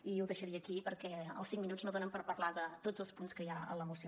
i ho deixaria aquí perquè els cinc minuts no donen per parlar de tots els punts que hi ha en la moció